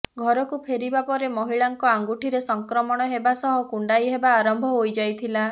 ଘରକୁ ଫେରିବା ପରେ ମହିଳାଙ୍କ ଆଙ୍ଗୁଠିରେ ସଂକ୍ରମଣ ହେବା ସହ କୁଣ୍ଡାଇ ହେବା ଆରମ୍ଭ ହୋଇ ଯାଇଥିଲା